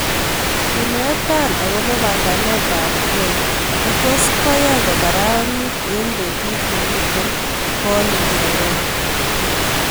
Iinetan agoboo panganetab ke ne tos' koyai kogararanit eng' betut nemiten boolik Nairobi